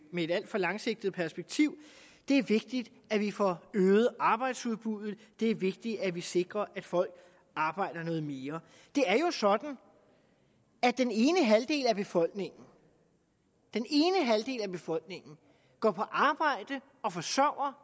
med et alt for langsigtet perspektiv det er vigtigt at vi får øget arbejdsudbuddet det er vigtigt at vi sikrer at folk arbejder noget mere det er jo sådan at den ene halvdel af befolkningen af befolkningen går på arbejde og forsørger